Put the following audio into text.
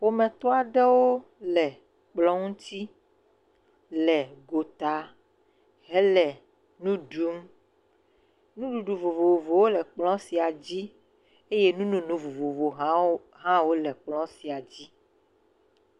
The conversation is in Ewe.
Ƒometɔ aɖewo le kplɔ ŋuti le gota hele nu ɖum, nuɖuɖu vovovowo le kplɔ sia dzi eye nu nono vovovowo hã wole kplɔ sia dzi.